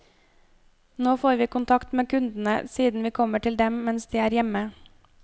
Nå får vi kontakt med kundene, siden vi kommer til dem mens de er hjemme.